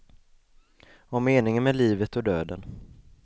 Om meningen med livet och döden.